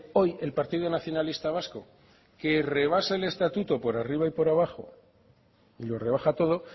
hoy el partido nacionalista vasco que rebasa el estatuto por arriba y por abajo y lo rebaja todo